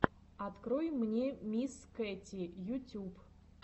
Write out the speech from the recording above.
открой мне мисс кэти ютюб